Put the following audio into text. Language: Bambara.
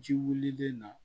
Ji wulilen na